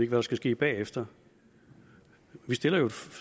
der skal ske bagefter vi stiller jo